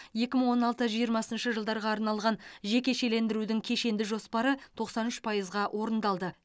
екі мың он алты жиырмасыншы жылдарға арналған жекешелендірудің кешенді жоспары тоқсан үш пайызға орындалды